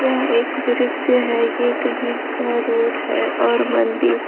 यह एक दृश्य है यह कहीं का रोड है और मंदिर--